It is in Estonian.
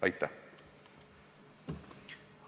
Aitäh!